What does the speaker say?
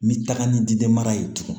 N bɛ taga ni ji de mara ye tugun